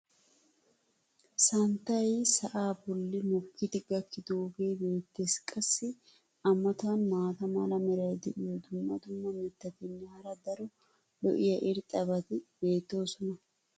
santtay sa"aa boli mokkidi gakkidaagee beetees. qassi a matan maata mala meray diyo dumma dumma mitatinne hara daro lo'iya irxxabati beetoosona.